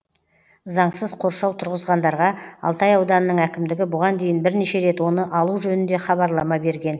заңсыз қоршау тұрғызғандарға алтай ауданының әкімдігі бұған дейін бірнеше рет оны алу жөнінде хабарлама берген